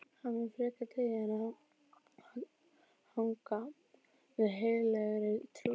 Hann mun frekar deyja en hagga við heilagri trú.